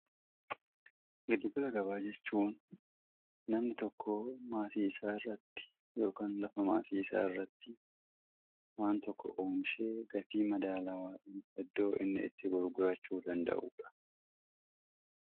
giddugala gabaa jechuun namni tokko maasii isaa irratti ykn lafa maasii isaa irratti waan tokko oomishee gatii madaalaawaan iddoo inni itti gurgurachuu danda'udha